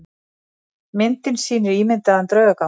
Myndin sýnir ímyndaðan draugagang.